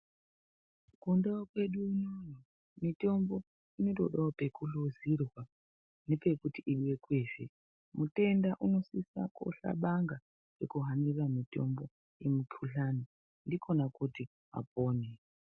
Kundau kwedu unono mutombo inotodawo pekuhluzirwa nepekuti ibekwezve mutenda unosisa kohlabanga nekuhanire mutombo yemukhuhlani ndikhona kuti apone.